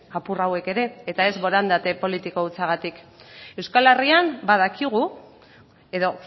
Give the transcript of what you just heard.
apur hauek ere eta ez borondate politiko hutsagatik euskal herrian badakigu edo